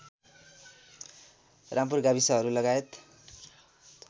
रामपुर गाविसहरू लगायत